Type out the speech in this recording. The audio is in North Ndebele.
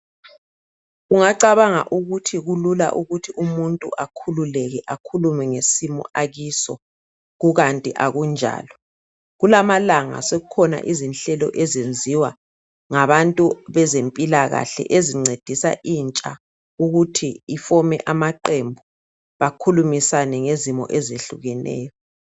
Ungacabanga ukuthi kulula ukuthi umuntu akhululeke akhulume ngesimo akiso kukanti akunjalo. Kulamalanga sokukhona izinhlelo ezenziwa ngabantu bezempilakahle ezencedisa intsha ukuthi ifome amaqembu bakhulumisane ngezimo ezehlukeneyo.